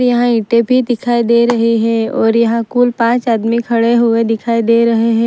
यहाँ ईटे भी दिखाई दे रहे हैं और यहां कुल पांच आदमी खड़े हुए दिखाई दे रहे हैं।